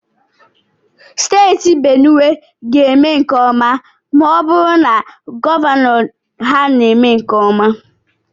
Steeti Benuwe ga-eme nke ọma ma ọ bụrụ na gọvanọ ha mee nke ọma.